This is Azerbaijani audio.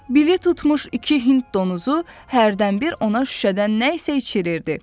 Billi tutmuş iki Hind donuzu hərdən bir ona şüşədən nə isə içirirdi.